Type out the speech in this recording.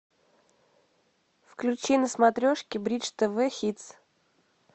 включи на смотрешке бридж тв хитс